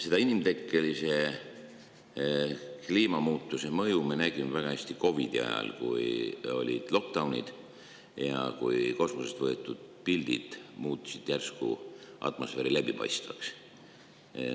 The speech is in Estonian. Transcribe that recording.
Seda inimtekkelise kliimamuutuse mõju me nägime väga hästi COVID-i ajal, kui olid lockdown'id ja kui kosmoses tehtud piltidel muutus järsku.